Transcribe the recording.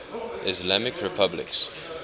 islamic republics